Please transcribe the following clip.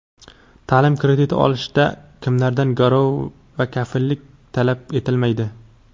Taʼlim krediti olishda kimlardan garov va kafillik talab etilmaydi?.